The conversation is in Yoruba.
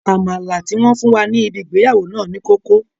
Àmàlà tí wọ́n fún wa ní ibi ìgbéyàwó náà ní kókó